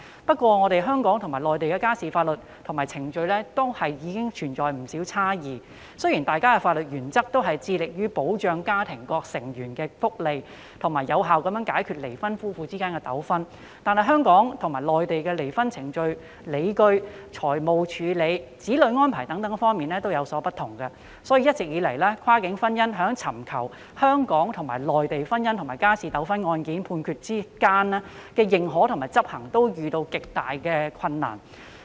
不過，香港和內地的家事法律和程序存在不少差異，雖然大家的法律原則均是致力保障家庭各成員的福利，以及有效解決離婚夫婦之間的糾紛，但香港和內地在離婚程序及理據、財產處理、子女安排等方面均有所不同，所以一直以來，跨境婚姻在尋求香港和內地的婚姻和家事糾紛案件判決的相互認可和執行上，均遇到極大困難。